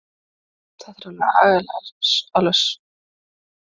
Þetta er alveg svakalega svart